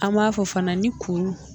An b'a fɔ fana ni kuru.